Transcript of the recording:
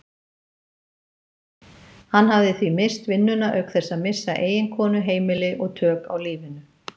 Hann hafði því misst vinnuna auk þess að missa eiginkonu, heimili og tök á lífinu.